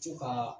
Co ka